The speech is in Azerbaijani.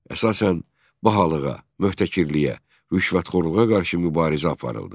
Əsasən bahalığa, möhtəkirliyə, rüşvətxorluğa qarşı mübarizə aparıldı.